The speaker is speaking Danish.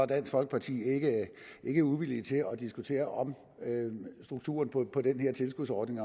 dansk folkeparti ikke uvillige til at diskutere om strukturen på den her tilskudsordning